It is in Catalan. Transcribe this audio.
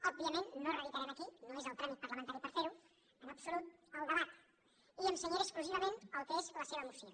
òbvia ment no reeditarem aquí no és el tràmit parlamentari per fer ho en absolut el debat i em cenyiré exclusivament al que és la seva moció